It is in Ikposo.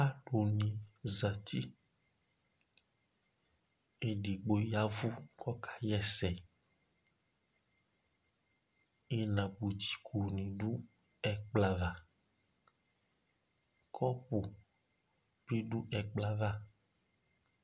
Aluni zǝti Edigbo yavu kʋ ɔka ɣɛsɛ Inabutiko ni dʋ ɛkplɔ ava Kɔpʋ bɩ dʋ ekplɔ yɛ ava